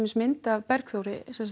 mynd af Bergþór